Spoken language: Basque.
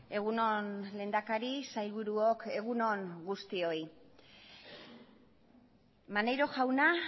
egun on lehendakari sailburuok egun on guztioi maneiro jauna